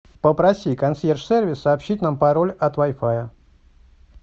попроси консьерж сервис сообщить нам пароль от вай фая